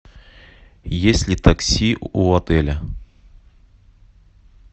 есть ли такси у отеля